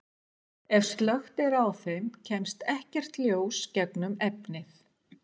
Ef slökkt er á þeim kemst ekkert ljós gegnum efnið.